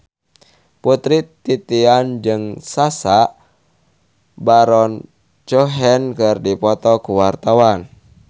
Putri Titian jeung Sacha Baron Cohen keur dipoto ku wartawan